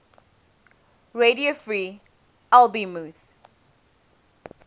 radio free albemuth